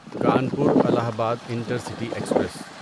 Kanpur Allahabad intercity express